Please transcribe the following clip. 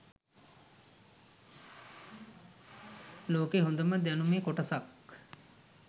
ලෝකෙ හොඳම දැනුමෙ කොටසක්